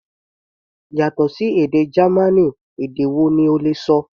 Yàtọ̀ sí èdè Gamaní, èdè wo ni o lè ṣọ?